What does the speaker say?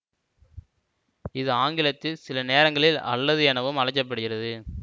இது ஆங்கிலத்தில் சில நேரங்களில் அல்லது எனவும் அழைக்க படுகிறது